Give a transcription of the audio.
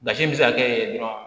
Basi bɛ se ka kɛ dɔrɔn